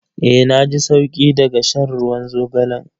Eh na ji sauki daga shan ruwan zogalan.